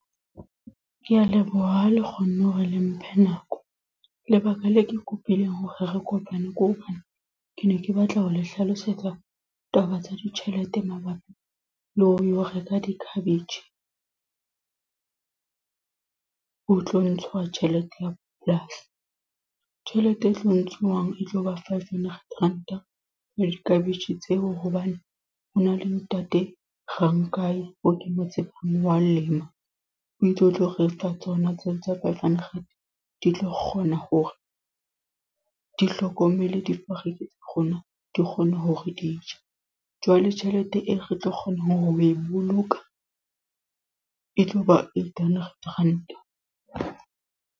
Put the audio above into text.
Ke a leboha ha le kgonne hore le mphe nako. Lebaka le ke kopileng hore re kopane. Ke hobane, ke ne ke batla ho le hlalosetsa taba tsa ditjhelete mabapi le ho lo reka di-cabbage. Ho tlo ntshwa tjhelete ya polasi. Tjhelete e tlo ntshuwang e tlo ba five hundred Ranta, for di-cabbage tseo. Hobane ho na le ntate Rankai eo ke mo tsebang wa lema. Wi tse o tlo re fa tsona tseo tsa five hundred. Di tlo kgona hore di hlokomele difariki tsa rona di kgone hore di je. Jwale tjhelete eo re tlo kgona ho e boloka e tlo ba eight hundred Ranta.